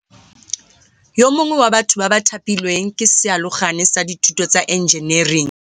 Yo mongwe wa batho ba ba thapilweng ke sealogane sa dithuto tsa enjenering